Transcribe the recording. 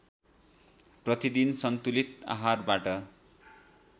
प्रतिदिन सन्तुलित आहारबाट